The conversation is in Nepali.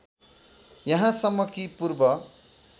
यहाँसम्म कि पूर्व